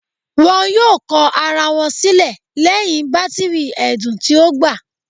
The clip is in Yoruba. Wọn yoo kọ ara wọn silẹ lẹhin batiri ẹdun ti o gba